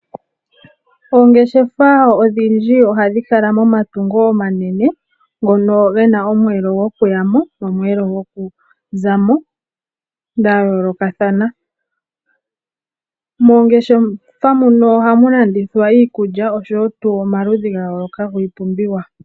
Oongeshefa odhindji ohadhi kala momatungo omanene ngono gena omweelo gokuyamo nomweelo gokuzamo dhayoolokathana. Mongeshefa muno ohamu landuthwa iikulya oshowo tu omaludhi gayooloka giipumbiwa.